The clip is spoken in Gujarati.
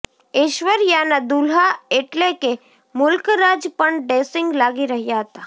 ઐશ્વર્યાના દુલ્હા એટલે કે મુલ્કરાજ પણ ડેશિંગ લાગી રહ્યા હતા